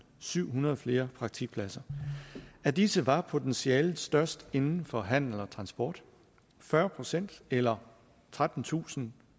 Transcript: syvhundrede flere praktikpladser af disse var potentiale størst inden for handel og transport fyrre procent eller trettentusind